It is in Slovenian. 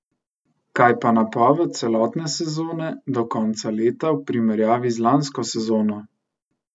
Kaj pa napoved celotne sezone do konca leta v primerjavi z lansko sezono?